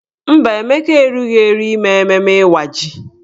Mba, Emeka erughi eru ime mmemme Ịwa ji.